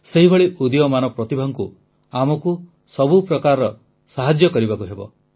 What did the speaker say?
ସେହିଭଳି ଉଦୀୟମାନ ପ୍ରତିଭାଙ୍କୁ ଆମକୁ ସବୁ ପ୍ରକାର ସାହାଯ୍ୟ କରିବାକୁ ହେବ